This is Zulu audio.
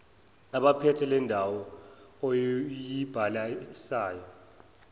abaphethe leyondawo oyibhalisayo